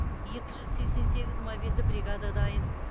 екі жүз сексен сегіз мобильді бригада дайын